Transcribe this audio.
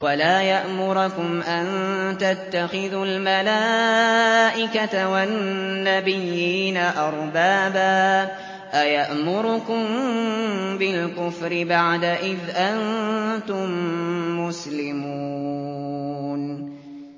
وَلَا يَأْمُرَكُمْ أَن تَتَّخِذُوا الْمَلَائِكَةَ وَالنَّبِيِّينَ أَرْبَابًا ۗ أَيَأْمُرُكُم بِالْكُفْرِ بَعْدَ إِذْ أَنتُم مُّسْلِمُونَ